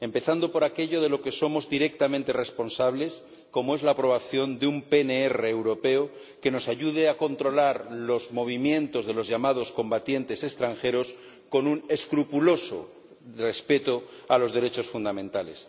Empezando por aquello de lo que somos directamente responsables como es la aprobación de un PNR europeo que nos ayude a controlar los movimientos de los llamados combatientes extranjeros con un escrupuloso respeto a los derechos fundamentales.